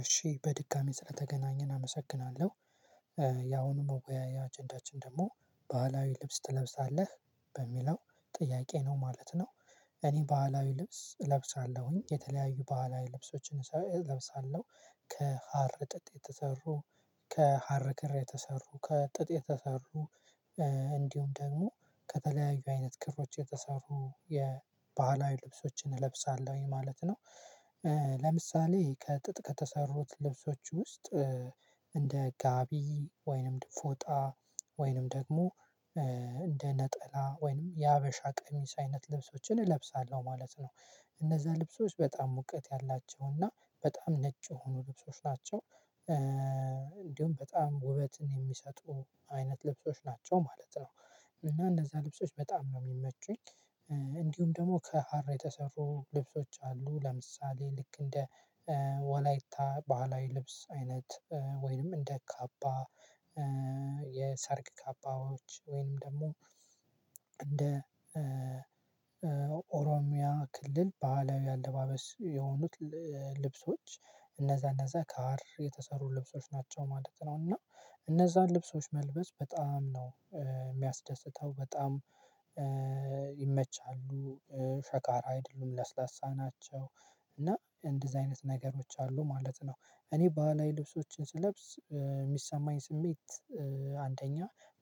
እሺ በድካሜ ስለተገናኘን አመሰግናለሁ። ያሁኑ መወያያ አጀንዳችን ደግሞ ባህላዊ ልብስ ትለብሳለህ? በሚለው ጥያቄ ነው ማለት ነው። እኔ ባህላዊ ልብስ እለብሳለሁኝ። የተለያዩ ባህላዊ ልብሶችን እለብሳለሁ። ከሀር ጥጥ፣ የተሰሩ ከሀር ክር የተሰሩ፣ ከጥጥ የተሰሩ እንዲሁም ደግሞ ከተለያዩ አይነት ክሮች የተሰሩ የባህላዊ ልብሶችን እለብሳለሁ። ይሄ ማለት ነው። ለምሳሌ ከጥጥ ከተሰሩት ልብሶች ውስጥ እንደ ጋቢ ወይንም ፎጣ ወይንም ደግሞ እንደ ነጠላ ወይንም የሀበሻ ቀሚስ አይነት ልብሶችን እለብሳለሁ። ማለት ነው እነዛ ልብሶች በጣም ሙቀት ያላቸውና በጣም ነጭ የሆኑ ልብሶች ናቸው። እንዲሁም በጣም ውበትን የሚሰጡ አይነት ልብሶች ናቸው። ማለት ነው እና እንደዛ ልብሶች በጣም ነው የሚመቹኝ እንዲሁም ደግሞ ከሀር የተሰፉ ልብሶች አሉ ለምሳሌ ልክ እንደ ወላይታ ባህላዊ ልብስ አይነት ወይንም እንደ ካባ የሰርግ ካባዎች ወይንም ደግሞ እንደ ኦሮሚያ ክልል ባህላዊ ያለባበስ የሆኑት ልብሶች እነዛ እነዛ ከሀር የተሰሩ ልብሶች ናቸው። ማለት ነው እና እነዛን ልብሶች መልበስ በጣም ነው የሚያስደስተው። በጣም ይመቻሉ። ሸካራ አይደሉም፣ ለስለሳ ናቸው። እና እንደዚህ አይነት ነገሮች አሉ ማለት ነው። እኔ ባህል ልብሶችን ስለብስ የሚሰማኝ ስሜት አንደኛ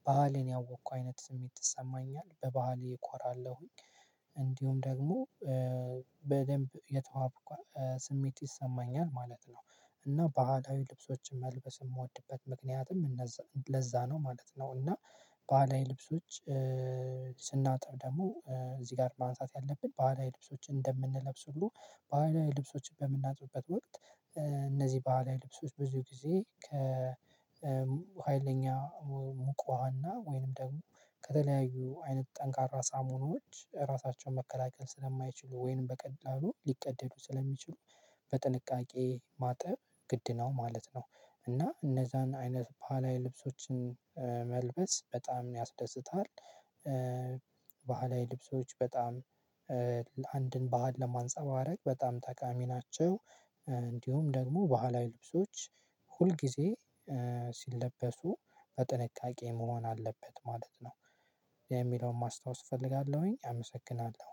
ባህልን ያወቅኩ አይነት ስሜት ይሰማኛለህ በባህል እኮራለሁኝ። እንዲሁም ደግሞ በደንብ የተዋብኩ ስሜት ይሰማኛ። ማለት ነው እና ባህላዊ ልብሶችን መልበስ የምወድበት ምክንያትም እነዛ ለዛ ነው ማለት ነው። እና ባህላይ ልብሶች ስናጥብ ደግሞ እዚህ ጋር ማንሳት ያለብን በሃላዊ ልብሶችን እንደምንለብስ ሁሉ በህላዊ ልብሶችን በምናጥብበት ወቅት እነዚህ በዓለ ልብሶች በዙ ጊዜ ከሀይለኛ ሙቅ ውሃና ወይንም ደግሞ ከተለያዩ አይነት ጠንካራ ሳሙኖች ራሳቸውን መከላከል ስለማይችሉ ወይንም በቀላሉ ሊቀደዱ ስለሚችሉ በጥንቃቄ ማጥብ ግድ ነው ማለት ነው። እና እነዛን አይነት ባህላይ ልብሶችን መልበስ በጣም ያስደስታል። ባህላዊ ልብሶች በጣም ለአንድን ባህል ለማንፀባረቅ በጣም ተቃሚ ናቸው። እንዲሁም ደግሞ ባህላዊ ልብሶች ሁልጊዜ ሲለበሱ በጥንቃቄ መሆን አለበት ማለት ነው። የሚለውን ማስታወስ እፈልጋለሁኝ። አመሰግናለሁ።